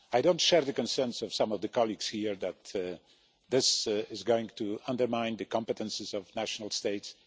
I don't share the concerns of some of the colleagues here that this is going to undermine the competences of national states.